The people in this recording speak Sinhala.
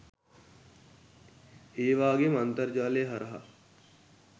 ඒවාගේම අන්තර්ජාලය හරහා